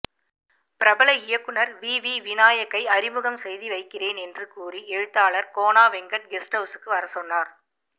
பிரபல இயக்குனர் விவி விநாயக்கை அறிமுகம் செய்து வைக்கிறேன் என்று கூறி எழுத்தாளர் கோனா வெங்கட் கெஸ்ட் ஹவுஸுக்கு வரசொன்னார்